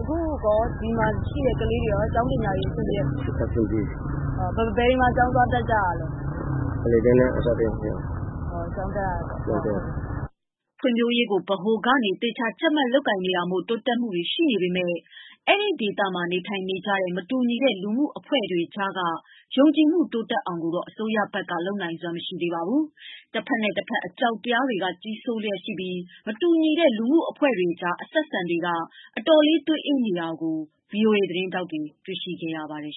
အခုဒီမှာရှိတဲ့ကလေးတွေရော ကျောင်းပညာရေးအဆင်ပြေလား အဆင်ပြေပါတယ်။ ဘယ်တွေမှာ သွားတက်တာလဲ အလယ်တန်းနဲ့ အထက်တန်းကျောင်းတွေမှာ ကျောင်းတက်ရပါတယ်။ ဖွံ့ဖြိုးရေးကို ဗဟိုကနေသေချာ ကြပ်မတ်လုပ်ကိုင်တာမို့ တိုးတက်မှုတွေရှိနေပေမယ့် အဲဒီဒေသမှာ နေထိုင်နေကြတဲ့ မတူညီတဲ့ လူမှုအဖွဲ့တွေကြား က ယုံကြည်မှုတိုးတက်အောင်ကိုတော့ အစိုးရဘက်က လုပ်နိုင်စွမ်းမရှိသေးပါဘူး။ တဖက်နဲ့ တဖက်အကြောက်တရားတွေ က ကြီးစိုးလျက်ရှိနေပြီး မတူညီတဲ့ လူမှုအဖွဲ့တွေကြားအဆက်အဆံတွေက အတော်လေးသွေးအေးနေတာကို VOA သတင်းထောက်တွေ တွေ့ခဲ့ရပါတယ်